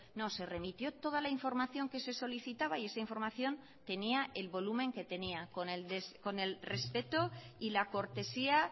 no se remitió toda la información que se solicitaba y esa información tenía el volumen que tenía con el respeto y la cortesía